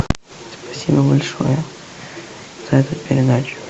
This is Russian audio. спасибо большое за эту передачу